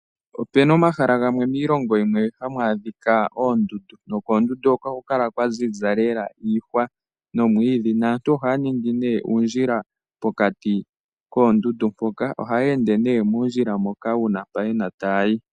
Opena omahala gamwe miilongo yimwe hamu adhika oondundu, nokoondundu hoka ohaku kala kwaziza lela iihwa nomwiidhi, naantu ohaa ningi nee uundjila pokati koondundu mpoka, ohayeende nee muundjila moka uuna yena mpa taayi.